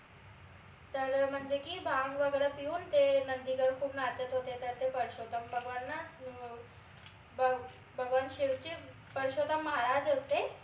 तर म्हनजे की भांग वगैरे पिऊन ते नंदिगन खूप नाचत होते तर ते परषोत्तम भगवान ना भगवान शिवचे परषोत्तम महाराज होते